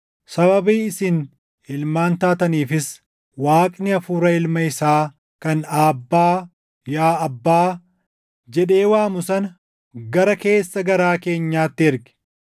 Sababii isin ilmaan taataniifis Waaqni Hafuura Ilma isaa kan, “ Aabbaa, yaa Abbaa” jedhee waamu sana gara keessa garaa keenyaatti erge.